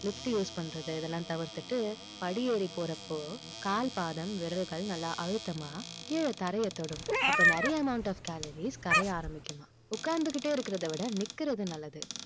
lift use பண்றது இதெல்லாம் தவிர்த்துட்டு படியேறி போறப்போ கால் பாதம் விரல்கள் நல்லா அழுத்தமா கீழே தரையை தொடும் அப்போ நிறைய amount of calories கரைய ஆரம்பிக்குமா உட்கார்ந்துகிட்டே இருக்கிறதை விட நிற்கிறது நல்லது